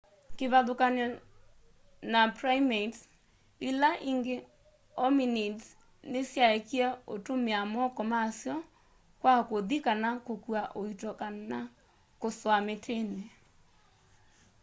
kivathukany'o na primates ila ingi hominids nisyaekie utumia moko masyo kwa kuthi kana kukua uito kana kusua mitini